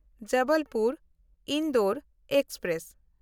ᱡᱚᱵᱚᱞᱯᱩᱨ–ᱤᱱᱫᱳᱨ express